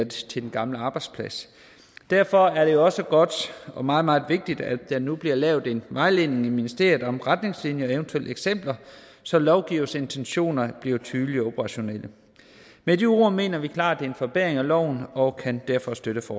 til den gamle arbejdsplads derfor er det også godt og meget meget vigtigt at der nu bliver lavet en vejledning i ministeriet om retningslinjerne eventuelt med eksempler så lovgivers intentioner bliver tydelige og operationelle med de ord mener vi klart det er en forbedring af loven og kan derfor støtte